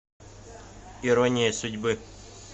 ирония судьбы